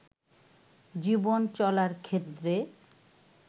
জীবন চলার ক্ষেত্রে